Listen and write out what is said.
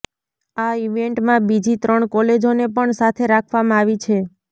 આ ઈવેન્ટમાં બીજી ત્રણ કોલેજોને પણ સાથે રાખવામાં આવી છે